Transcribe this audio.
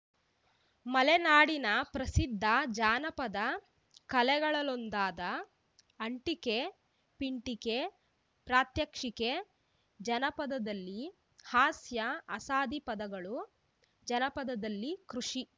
ಮಲೆನಾಡಿನ ಪ್ರಸಿದ್ದ ಜಾನಪದ ಕಲೆಗಳಲ್ಲೊಂದಾದ ಅಂಟಿಕೆಪಿಂಟಿಕೆ ಪ್ರಾತ್ಯಕ್ಷಿಕೆ ಜನಪದದಲ್ಲಿ ಹಾಸ್ಯ ಅಸಾದಿ ಪದಗಳು ಜನಪದದಲ್ಲಿ ಕೃಷಿ